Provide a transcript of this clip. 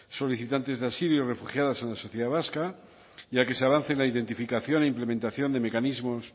solicitantes de asilo y refugiadas en la sociedad vasca ya que ese avance en la identificación e implementación de mecanismos